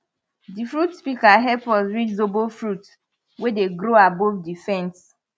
di fruit pika hep us reach zobo fruits we dey grow above di fence